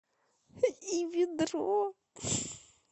и ведро